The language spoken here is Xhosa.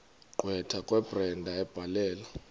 gqwetha kabrenda ebhalela